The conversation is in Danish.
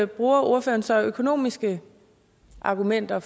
bruger ordføreren så økonomiske argumenter